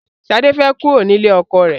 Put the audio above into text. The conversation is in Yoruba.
Sade fẹ́ kúrò nílé ọkọ rẹ̀